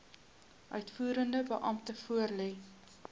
uitvoerende beampte voorlê